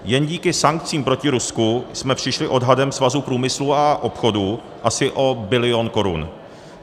Jen díky sankcím proti Rusku jsme přišli odhadem Svazu průmyslu a obchodu asi o bilion korun.